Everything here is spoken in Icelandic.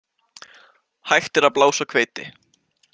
Hægt er að blása hveiti.